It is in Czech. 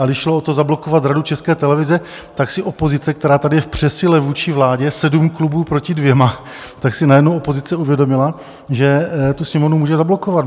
A když šlo o to, zablokovat Radu České televize, tak si opozice, která tady je v přesile vůči vládě - sedm klubů proti dvěma - tak si najednou opozice uvědomila, že tu Sněmovnu může zablokovat.